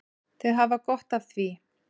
Þau hafa gott af því.